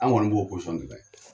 An kɔni b'o de la.